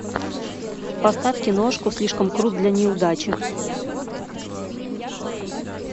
поставь киношку слишком крут для неудачи